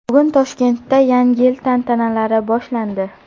Bugun Toshkentda Yangi yil tantanalari boshlandi.